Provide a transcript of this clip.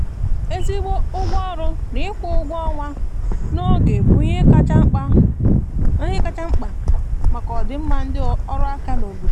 ezigbo ụgwọ ọrụ na ịkwụ ụgwọ ọnwa na oge bụ ihe kacha mkpa maka ọdịmma ndị ọrụ aka n' obodo